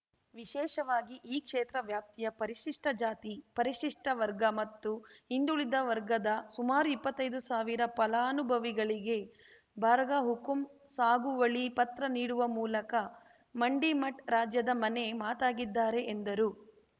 ವಿಶೇಷವಾಗಿ ಈ ಕ್ಷೇತ್ರ ವ್ಯಾಪ್ತಿಯ ಪರಿಶಿಷ್ಟಜಾತಿ ಪರಿಶಿಷ್ಟವರ್ಗ ಮತ್ತು ಹಿಂದುಳಿದ ವರ್ಗದ ಸುಮಾರು ಇಪ್ಪತೈದು ಸಾವಿರ ಫಲಾನುಭವಿಗಳಿಗೆ ಬರ್ಗಹುಕುಂ ಸಾಗುವಳಿ ಪತ್ರ ನೀಡುವ ಮೂಲಕ ಮಂಡಿಮಠ್‌ ರಾಜ್ಯದ ಮನೆ ಮಾತಾಗಿದ್ದಾರೆ ಎಂದರು